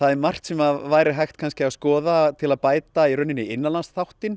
er margt sem væri hægt að skoða til að bæta